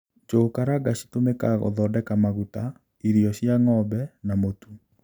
Njugu karanga citũmĩkaga gūthondeka maguta, irio cia ng'ombe na mūtu.